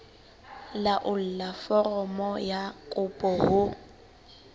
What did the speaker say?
laolla foromo ya kopo ho